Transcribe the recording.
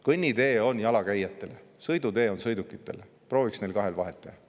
Kõnnitee on jalakäijatele, sõidutee on sõidukitele, prooviks neil kahel vahet teha.